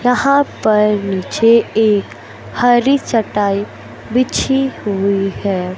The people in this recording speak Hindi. यहां पर नीचे एक हरी चटाई बिछी हुई है।